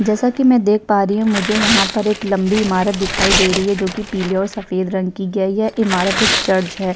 जैसा कि मैं देख पा रही हूँ मुझे यहाँ पर एक लंबी इमारत दिखाई दे रही है जोकि पीले और सफेद रंग की। क्या ये इमारत एक चर्च है ?